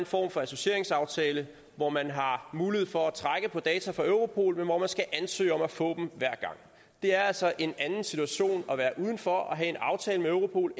form for associeringsaftale hvor man har mulighed for at trække på data fra europol men hvor man skal ansøge om at få dem det er altså en anden situation at være uden for og have en aftale med europol